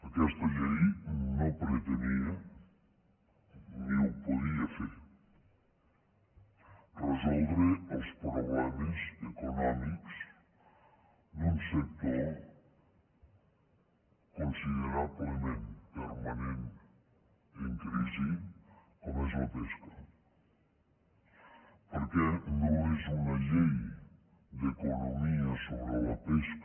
aquesta llei no pretenia ni ho podia fer resoldre els problemes econòmics d’un sector considerablement permanent en crisi com és la pesca perquè no és una llei d’economia sobre la pesca